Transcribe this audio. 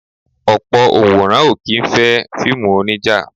Ọ̀pọ̀ Onworan o kì í fẹ́ fíìmù onija.